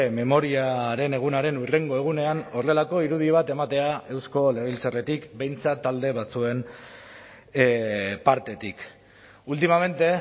memoriaren egunaren hurrengo egunean horrelako irudi bat ematea eusko legebiltzarretik behintzat talde batzuen partetik últimamente